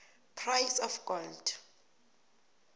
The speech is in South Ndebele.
price of gold